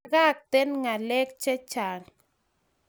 Pakaten Ngalek che chang